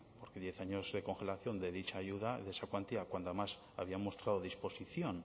porque diez años de congelación de dicha ayuda de esa cuantía cuando además había mostrado disposición